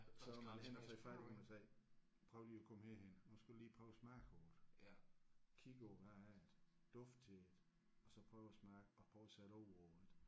Så måtte jeg hen og tage fat i dem og sagde prøv lige at komme herhen nu skal du lige prøve at smage på det kigge på det hvad er det dufte til det og så smage og prøve at sætte ord på det